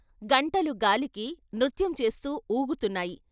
గంటలు గాలికి నృత్యం చేస్తూ ఊగుతున్నాయి.